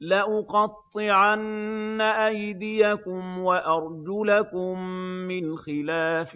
لَأُقَطِّعَنَّ أَيْدِيَكُمْ وَأَرْجُلَكُم مِّنْ خِلَافٍ